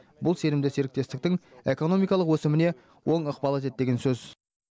бұл сенімді серіктестіктің экономикалық өсіміне оң ықпал етеді деген сөз